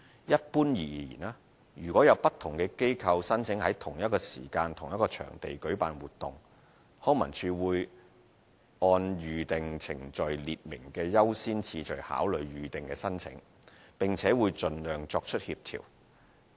一般而言，如有不同機構申請在同一時間同一場地舉辦活動，康文署會按《預訂程序》列明的優先次序考慮預訂申請，並且會盡量作出協調。